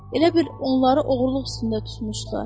Elə bil onları oğurluq üstündə tutmuşdular.